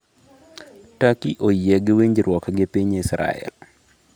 Turkey oyie gi winjruok gi piny Israel